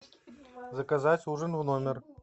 заказать ужин в номер